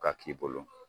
Ka k'i bolo